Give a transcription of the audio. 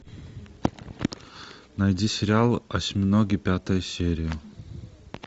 найди сериал осьминоги пятая серия